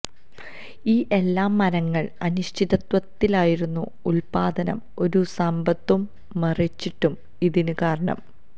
ഈ എല്ലാ മരങ്ങൾ അനിശ്ചിതത്വത്തിലായിരുന്ന ഉല്പാദനം ഒരു സമ്പത്തു മറെച്ചിട്ടു ഇതിന് കാരണം